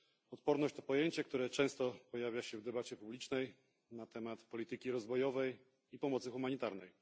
Odporność to pojęcie, które często pojawia się w debacie publicznej na temat polityki rozwojowej i pomocy humanitarnej.